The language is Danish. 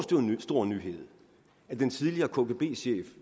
stor nyhed at den tidligere kgb chef